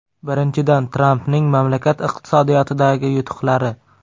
Birinchidan, Trampning mamlakat iqtisodiyotidagi yutuqlari.